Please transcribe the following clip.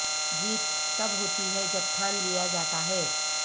جیت تب ہوتی ہے جب ٹھان لیا جاتا ہے